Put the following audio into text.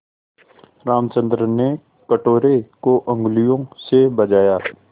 रामचंद्र ने कटोरे को उँगलियों से बजाया